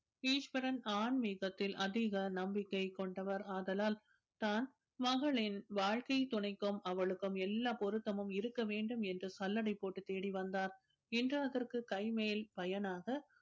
ஈஸ்வரன் ஆன்மீகத்தில் அதிக நம்பிக்கை கொண்டவர் ஆதலால் தன் மகளின் வாழ்க்கை துணைக்கும் அவளுக்கும் எல்லா பொருத்தமும் இருக்க வேண்டும் என்று சல்லடை போட்டு தேடி வந்தார் இன்று அதற்கு கைமேல் பயனாக